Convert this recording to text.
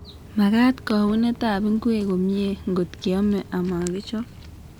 Magat kaunetab ngwek komie ngotkeome amakichop.